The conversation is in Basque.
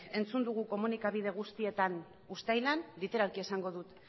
entzun dugu komunikabide guztietan uztailan literalki esango dut